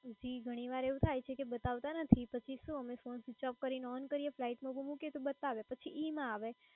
જી ઘણીવાર આવુ થાય કે બતાવતા નથી પછી શું અમે phone switch-off કરીને on કરીયે ને flightmode ઉપર મુકીએ તો બતાવે પછી ઇ ના આવે.